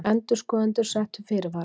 Endurskoðendur settu fyrirvara